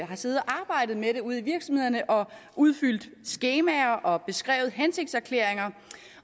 har siddet og arbejdet med det ude i virksomhederne og har udfyldt skemaer og beskrevet hensigtserklæringer